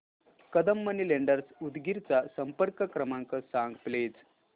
Kadam money lenders Udgir चा संपर्क क्रमांक सांग प्लीज